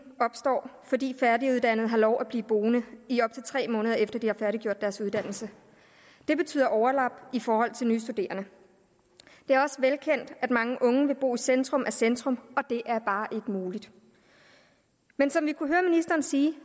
opstår fordi færdiguddannede har lov at blive boende i op til tre måneder efter at de har færdiggjort deres uddannelse det betyder overlap i forhold til nye studerende det er også velkendt at mange unge vil bo i centrum af centrum og det er bare ikke muligt men som vi kunne høre ministeren sige